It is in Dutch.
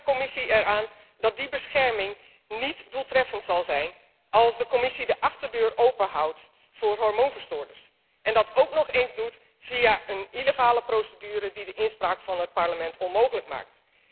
Ik herinner de Commissie eraan dat die bescherming niet doeltreffend zal zijn als zij de achterdeur openhoudt voor hormoonverstoorders en dat ook nog eens doet via een illegale procedure die de inspraak van het Parlement onmogelijk maakt.